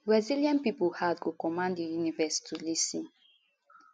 resilient pipo heart go command di universe to lis ten